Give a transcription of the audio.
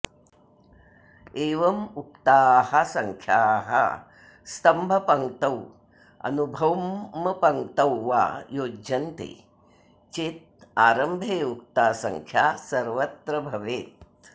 एवं उक्ताः सङ्ख्याः स्तम्भपङ्क्तौ अनुभौमपङ्क्तौ वा योज्यन्ते चेद् आरम्भे उक्ता सङ्ख्या सर्वत्र भवेत्